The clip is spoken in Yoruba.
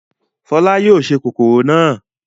Fọlá yóò se kòkòrò náà.